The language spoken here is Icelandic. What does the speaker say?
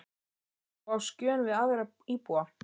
Ert þú á skjön við aðra íbúa?